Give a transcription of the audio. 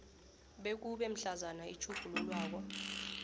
bekube mhlazana itjhugululwako